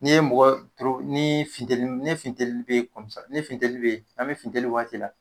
Ni ye mɔgɔ ni funtɛnni ne funtɛnni n'an be funtenni waati la